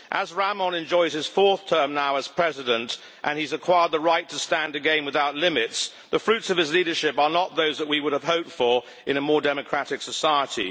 As Rahmon enjoys his fourth term now as president, and he has acquired the right to stand again without limits, the fruits of his leadership are not those that we would have hoped for in a more democratic society.